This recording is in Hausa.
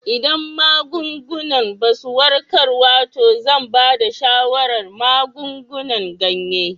Idan magungunan ba su warkarwa to zan ba da shawarar magungunan ganye.